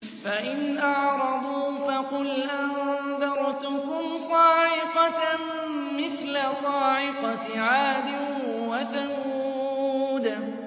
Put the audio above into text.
فَإِنْ أَعْرَضُوا فَقُلْ أَنذَرْتُكُمْ صَاعِقَةً مِّثْلَ صَاعِقَةِ عَادٍ وَثَمُودَ